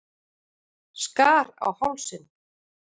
Skar á hálsinn.